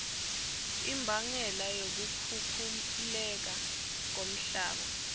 imbangela yokukhukhuleka komhlaba